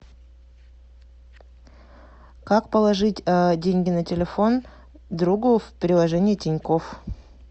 как положить деньги на телефон другу в приложении тинькофф